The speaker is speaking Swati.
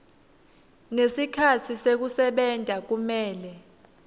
nesikhatsi sekusebenta kumele